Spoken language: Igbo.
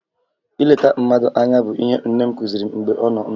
Ileta mmadụ anya bụ ihe nne m kụziri m mgbe ọ nọ ndụ